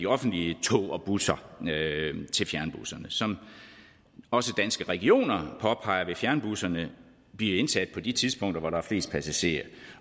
offentlige tog og busser til fjernbusserne som også danske regioner påpeger vil fjernbusserne blive indsat på de tidspunkter hvor der er flest passagerer